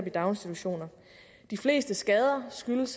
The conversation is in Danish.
i daginstitutioner de fleste skader skyldes